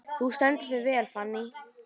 Þú stendur þig vel, Fanný!